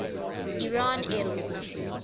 iran air force